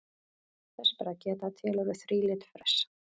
Þess ber að geta að til eru þrílit fress.